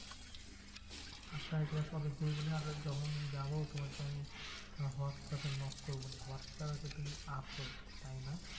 আচ্ছা একবার সবাই group নিয়ে আর ওই যখন যাবো তোমাকে আমি হোয়াটস্যাপে knock করবো। হোয়াটস্যাপে তো তুমি আছোই, তাইনা?